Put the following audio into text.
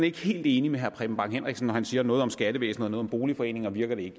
ikke helt enig med herre preben bang henriksen når han siger noget om skattevæsenet og noget om boligforeningerne og det